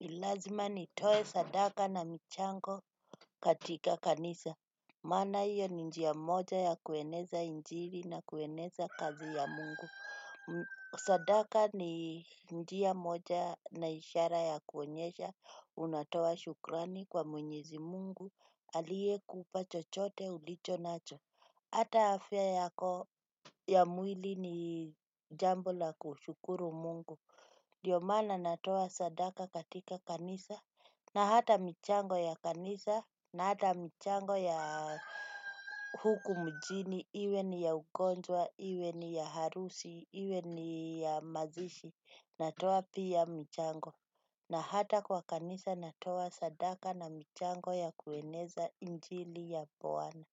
Lazima nitoe sadaka na michango katika kanisa. Maana hiyo ni njia moja ya kueneza injiri na kueneza kazi ya Mungu. Sadaka ni njia moja na ishara ya kuonyesha. Unatoa shukrani kwa Mwenyezi Mungu Aliyekupa chochote ulicho nacho. Hata afya yako. Ya mwili ni jambo la kushukuru Mungu Dio maana natoa sadaka katika kanisa. Na hata michango ya kanisa. Na hata michango ya huku mjini iwe ni ya ugonjwa, iwe ni ya harusi, iwe ni ya mazishi. Natoa pia michango. Na hata kwa kanisa natoa sadaka na michango ya kueneza injili ya bwana.